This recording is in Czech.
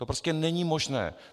To prostě není možné.